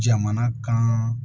Jamana kan